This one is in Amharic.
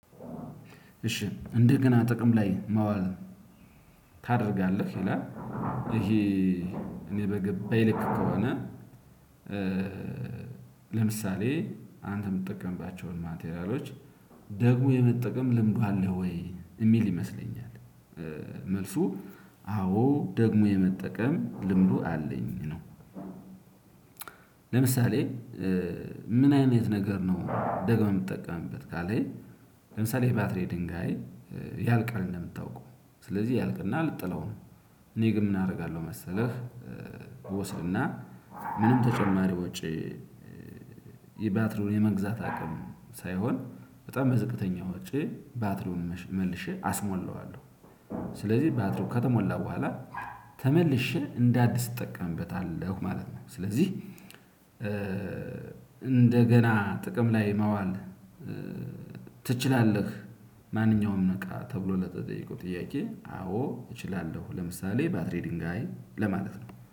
እሺ እንደገና ጥቅም ላይ ማዋል ታደርጋለህ ይላል ይሄ እኔ በገባኝ ልክ ከሆነ። ለምሳሌ አንተ የምትጠቀምባቸውን ማቴሪያሎች ደግሞ የመጠቀም ልምዱ አለህ ወይ የሚል ይመስለኛል? መልሱ አዎ ደግሞ የመጠቀም ልምዱ አለኝ ነው። ለምሳሌ ምን አይነት ነገር ነው ደግመህ የምትጠቀምበት ካለኝ። ለምሳሌ ይሄ ባትሪ ድንጋይ ያልቃል እንደምታውቀው ስለዚህ ያልቅና ልትጥለው ነው። እኔ ግን ምን አደርጋለሁ መሰለህ? ወስድና ምንም ተጨማሪ ወጪ የባትሪውን የመግዛት አቅም ሳይሆን በጣም በዝቅተኛ ወጪ ባትሪውን መልሼ አስሞላዋለሁ። ስለዚህ ባትሪው ከተሞላ በኋላ ተመልሼ እንደአዲስ እጠቀምበታለሁ ማለት ነው። ስለዚህ እንደገና ጥቅም ላይ ማዋል። ትችላለህ? ማንኛውም እቃ ተብሎ ለተጠየቀው ጥያቄ አዎ እችላለሁ። ለምሳሌ ባትሪ ድንጋይ ለማለት ነው